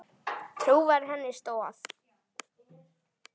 Trú var henni stoð.